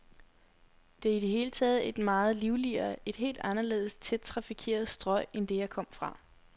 Det er i det hele taget et meget livligere, et helt anderledes tæt trafikeret strøg end det, jeg kom fra.